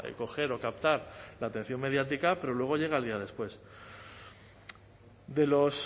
coger o captar la atención mediática pero luego llega el día después de los